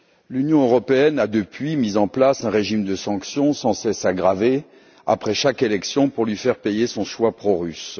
L'Union européenne a depuis mis en place un régime de sanctions sans cesse aggravé après chaque élection pour faire payer à la Biélorussie son choix pro russe.